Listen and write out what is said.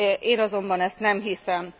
Én azonban ezt nem hiszem.